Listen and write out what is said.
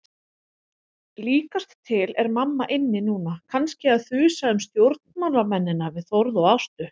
Líkast til er mamma inni núna, kannski að þusa um stjórnmálamennina við Þórð og Ástu.